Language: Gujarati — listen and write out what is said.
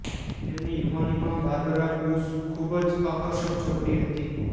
તેમની યુવાનીમાં બાર્બરા બુશ ખૂબ જ આકર્ષક છોકરી હતી